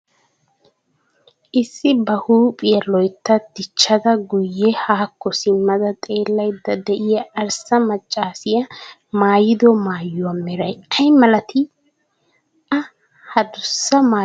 Issi ba huuphphiyaa loy'tta dichchada guye haako simadda xeelayidda diyaa arssa maccassiyaa maayido maayuwaa meeray ay malatti? Ha addussa maayuwaa ayssi maayadde?